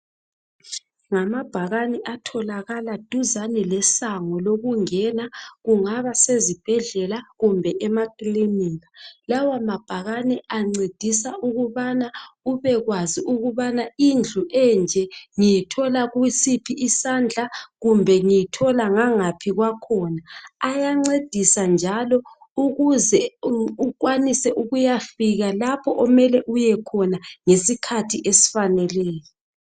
Ngamabhakane atholakala duzane lesango lokungena, kungaba sezibhedlela kumbe emakilinika. Lawa mabhakane ancedisa ukubana ubekwazi ukubana indlu enje ngiyithola kusiphi isandla kumbe ngiyithola ngangaphi kwakhona. Ayancedisa njalo ukuze ukwanise ukuyafika lapho omele uyekhona ngesikhathi esifaneleyo